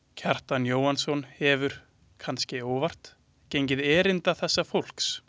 Kjartan Jóhannsson hefur, kannske óvart, gengið erinda þessa fólks.